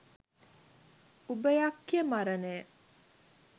උභයක්ඛය මරණය